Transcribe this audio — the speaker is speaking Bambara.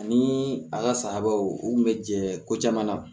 Ani a ka sayabaw u kun bɛ jɛ ko caman na